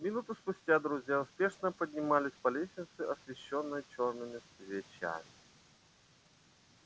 минуту спустя друзья спешно поднимались по лестнице освещённой чёрными свечами